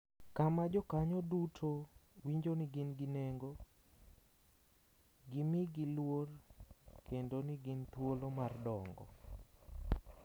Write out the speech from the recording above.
Kama jokanyo duto winjo ni gin gi nengo, gimigi luor kendo ni gin thuolo mar dongo.